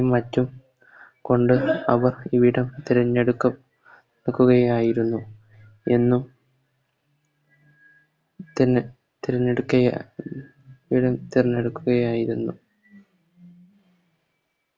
മറ്റും കൊണ്ട് അവർ ഇവിടം തെരഞ്ഞെടുക്ക ടുക്കുകയായിരുന്നു അന്നും പിന്നെ തിരഞ്ഞെടുക്ക തിരഞ്ഞെടുക്കുകയായിരുന്നു